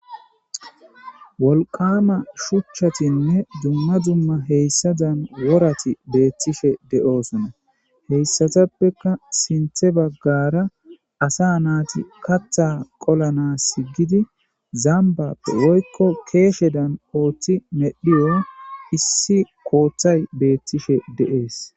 wolqama shuchchatinne dumma dumma heyssadan worati beettishe de7oosona heyssatappeka sinthe baggara asa naati katha qolana si gidi zambappe woykko keeshe dan ooththi medhiyo issi kooththay beettishe de7ees